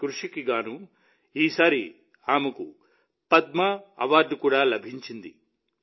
ఈ కృషికి గాను ఈసారి ఆమెకు పద్మ అవార్డు కూడా లభించింది